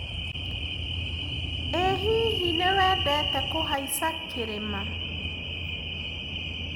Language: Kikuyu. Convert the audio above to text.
ĩhihi nĩwendete kũhaica kĩrĩma?